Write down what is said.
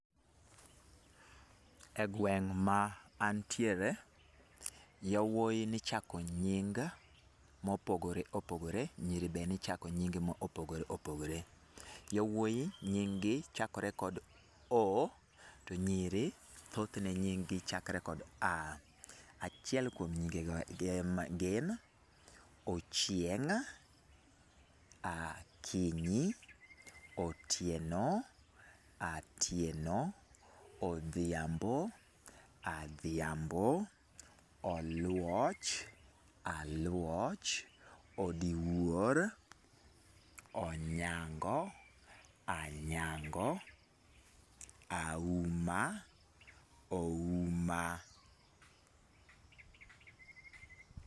E gweng' ma antiere, yowuoyi nichako nying mopogore opogore, nyiri be nichako nying mopogore opogore. Yowuoyi nying gi chakore kod 'O' to nyiri thoth ne nying gi chakore kod 'A'. Achiel kuom nyinge go gin Ochieng, Akinyi, Otieno, Atieno, Odhiambo, Adhiambo, Oluoch, Aluoch, Odiwuor, Onyango, Anyango, Auma, Ouma.